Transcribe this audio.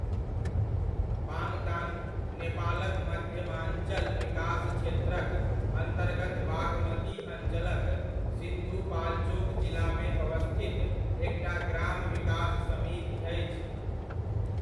पाङताङ, नेपालक मध्यमाञ्चल विकास क्षेत्रक अन्तर्गत बागमती अञ्चलक सिन्धुपाल्चोक जिलामे अवस्थित एकटा ग्राम विकास समिति अछि।